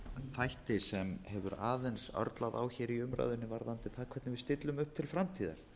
þætti sem hefur aðeins örlað á í umræðunni varðandi það hvernig við stillum upp til framtíðar